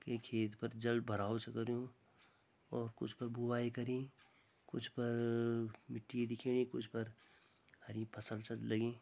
ये खेत पर जल भराओ छ करयुं और कुछ पर बुवाई करीं कुछ पर-र-र मिट्टी दिखेणी कुछ पर हरी फसल छ लगीं।